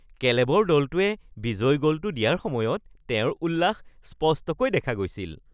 কেলেবৰ দলটোৱে বিজয়ী গ’লটো দিয়াৰ সময়ত তেওঁৰ উল্লাস স্পষ্টকৈ দেখা গৈছিল